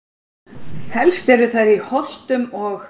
Helst eru þær í Holtum og